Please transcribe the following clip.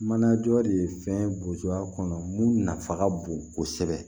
Mana jɔ de fɛn bo a kɔnɔ mun nafa ka bon kosɛbɛ